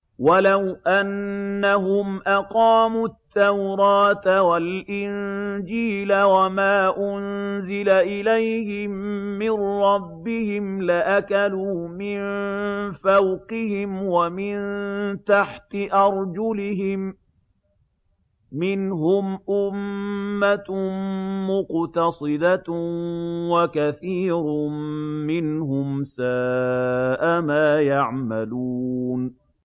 وَلَوْ أَنَّهُمْ أَقَامُوا التَّوْرَاةَ وَالْإِنجِيلَ وَمَا أُنزِلَ إِلَيْهِم مِّن رَّبِّهِمْ لَأَكَلُوا مِن فَوْقِهِمْ وَمِن تَحْتِ أَرْجُلِهِم ۚ مِّنْهُمْ أُمَّةٌ مُّقْتَصِدَةٌ ۖ وَكَثِيرٌ مِّنْهُمْ سَاءَ مَا يَعْمَلُونَ